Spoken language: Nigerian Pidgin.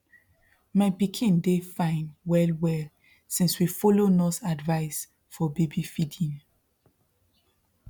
my pikin dey fine wellwell since we follow nurse advice for baby feeding